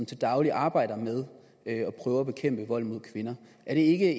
til daglig arbejder med at prøve at bekæmpe vold mod kvinder er det ikke